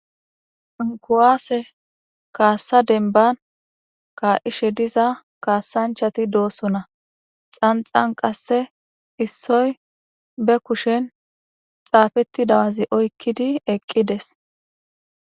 Ku'ase kasa deniban ka'ishe diza kasanichati do'sona xanixan qase issoy be kushen xapetida wazi oyikidi eqides